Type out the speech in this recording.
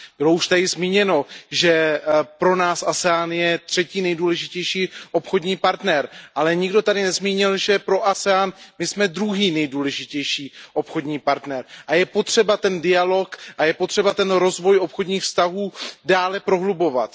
Bylo už tady zmíněno, že pro nás ASEAN je třetí nejdůležitější obchodní partner, ale nikdo tady nezmínil, že pro ASEAN my jsme druhý nejdůležitější obchodní partner a je potřeba dialog a rozvoj obchodních vztahů dále prohlubovat.